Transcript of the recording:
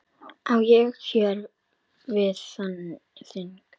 Á ég hér við þing.